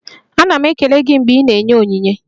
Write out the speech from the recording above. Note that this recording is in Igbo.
Ana m ekele gị mgbe ị na-enye onyinye.